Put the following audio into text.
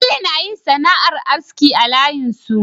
Bello nayin sana'ar aski a layin su